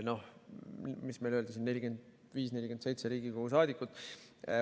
40–47 Riigikogu saadikut.